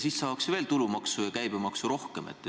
Siis saaks veel rohkem tulumaksu ja käibemaksu.